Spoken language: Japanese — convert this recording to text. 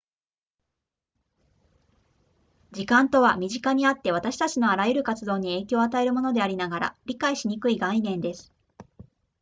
時間とは身近にあって私たちのあらゆる活動に影響を与えるものでありながら理解しにくい概念です